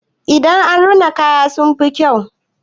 Idan an rina kaya sun fi kyau.